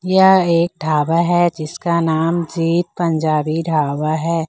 यह एक ढाबा है जिसका नाम जी पंजाबी ढाबा है।